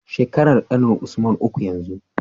Shekarar ƙanin usman uku yanzu